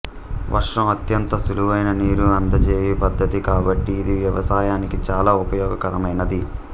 వర్షం అత్యంత సులువైన నీరు అందజేయు పద్ధతి కాబట్టి ఇది వ్యవసాయానికి చాలా ఉపయోగకరమైనది